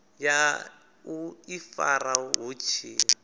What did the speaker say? ya u ifara vhu tshi